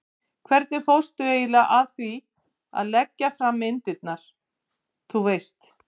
hvernig fórstu eiginlega að því að leggja fram myndirnar, þú veist.